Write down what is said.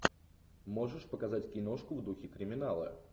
можешь показать киношку в духе криминала